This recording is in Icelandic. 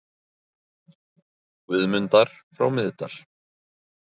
Guðmundar frá Miðdal.